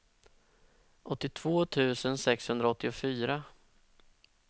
åttiotvå tusen sexhundraåttiofyra